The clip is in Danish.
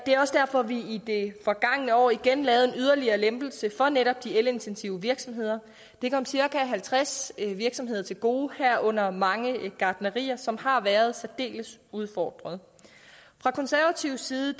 er også derfor vi i det forgangne år igen lavede en yderligere lempelse for netop de elintensive virksomheder det kom cirka halvtreds virksomheder til gode herunder mange gartnerier som har været særdeles udfordret fra konservatives side